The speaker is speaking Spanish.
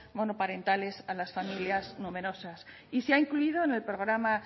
monoparentales a las familias numerosas y se ha incluido en el programa